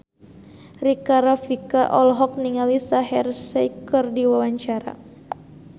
Rika Rafika olohok ningali Shaheer Sheikh keur diwawancara